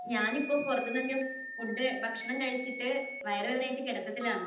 ഞാനിപ്പോൾ പുറത്തുനിന്നൊക്കെ ഫുഡ്, ഭക്ഷണം കഴിച്ചിട്ട് വയറുവേദനയായിട്ട് കിടത്തത്തിലാണ്.